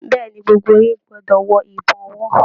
Bẹ̀ẹ́ni, gbogbo yín gbọdọ wọ ìbọ̀wọ́.